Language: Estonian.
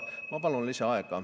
Ma palun lisaaega.